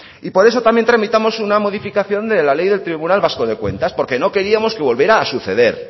y por eso también tramitamos una modificación de la ley del tribunal vasco de cuentas porque no queríamos que volviera a suceder